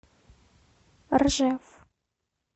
ржев